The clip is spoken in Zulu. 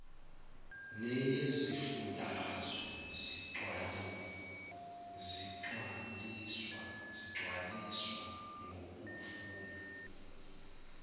neyezifundazwe zigcwaliswa ngokufuna